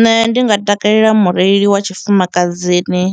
Nṋe ndi nga takalela mureili wa tshifumakadzini,